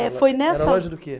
Eh, foi nessa. Era loja do quê?